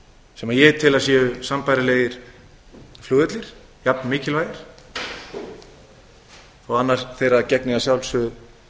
sem ég tel að séu sambærilegir flugvellir jafn mikilvægir þó annar þeirra gegni að sjálfsögðu